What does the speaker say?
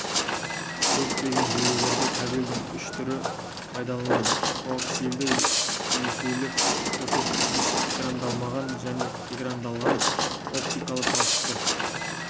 көптеген желілерде кабельдің үш түрі пайдалыналады коаксиалды есулі қос өткізгіш экрандалмаған және экрандалған оптикалы талшықты